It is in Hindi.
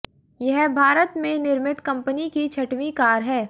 यह भारत में निर्मित कंपनी की छठवीं कार है